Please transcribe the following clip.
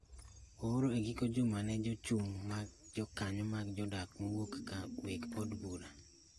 ooro e giko juma ni ne Jochung’ mag Jokanyo mag jodak mowuok ka weg od bura